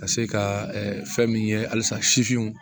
Ka se ka fɛn min ye halisa sifinw